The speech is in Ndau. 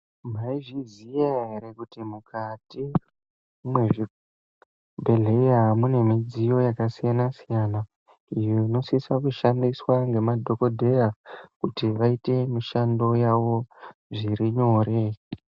Mwazviziya here kuti mukati mwezvibhedhleya mune midziyo yakasiyana-siyana inosisa kushandiswa ngemadhokodheya kuti vaite mishando yavo zvirinyore.